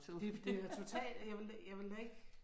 Det er total jeg ville da jeg ville da ikke